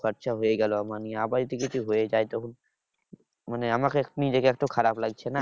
খরচ হয়ে গেলো আমার নিয়ে আবার যদি কিছু হয়ে যায় তো মানে আমাকে নিজেকে এত খারাপ লাগছে না?